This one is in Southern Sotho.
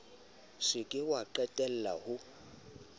se ke wa qalella ho